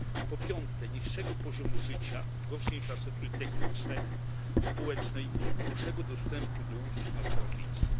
Po piąte niższego poziomu życia, gorszej infrastruktury technicznej, społecznej, gorszego dostępu do usług na obszarach wiejskich.